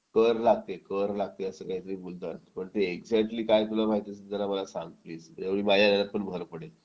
कर लागते कर लागते असं काहीतरी बोलतात पण ते एक्झॅक्टली काय तुला माहिती असेल तर सांग प्लीज म्हणजे माझ्या ह्याच्यात पण भर पडेल